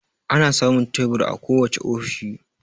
Ana samun teburi a kowace ofishi